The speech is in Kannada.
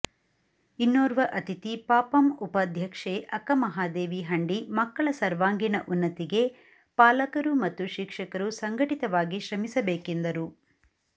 ಇನ್ನೋರ್ವ ಅತಿಥಿ ಪಪಂ ಉಪಾಧ್ಯಕ್ಷೆ ಅಕ್ಕಮಹಾದೇವಿ ಹಂಡಿ ಮಕ್ಕಳ ಸರ್ವಾಂಗೀಣ ಉನ್ನತಿಗೆ ಪಾಲಕರು ಮತ್ತು ಶಿಕ್ಷಕರು ಸಂಘಟಿತ ವಾಗಿ ಶ್ರಮಿಸಬೇಕೆಂದರು